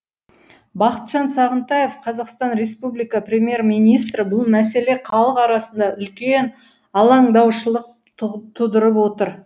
бақытжан сағынтаев қазақстан республика премьер министрі бұл мәселе халық арасында үлкен алаңдаушылық тудырып отыр